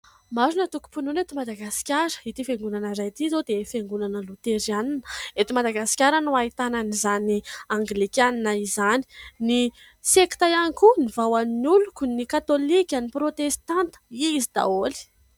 Maro ny antokom-pinoana eto Madagaskara. Ity fiangonana iray ity izao dia fiangonana loterana. Eto Madagasikara no ahitana an'izany anglikana izany, ny sekta ihany koa, ny Vahao ny Oloko, ny katolika, ny prôtestanta, izy daholo.